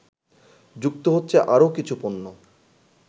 যুক্ত হচ্ছে আরও কিছু পণ্য